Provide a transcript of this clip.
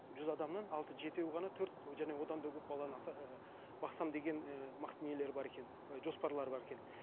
жүз адамнан алты жетеуі ғана төрт жаңа одан да көп бала ыыы бақсам деген ііі нелер бар екен жоспарлары бар екен